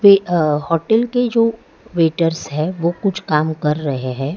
अ hotel के जो waiters है वो कुछ काम कर रहे हैं।